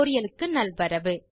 tutorial க்கு நல்வரவு